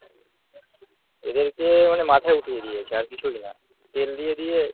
এদেরকে মানে মাথায় উঠিয়ে দিয়েছে আর কিছুই না তেল দিয়ে দিয়ে